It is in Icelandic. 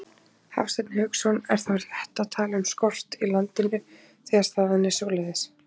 Hafsteinn Hauksson: Er þá rétt að tala um skort í landinu, þegar staðan er svoleiðis?